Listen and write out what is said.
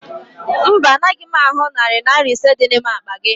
Mba, anaghị m ahụ narị Naira ise dị n'ime akpa gị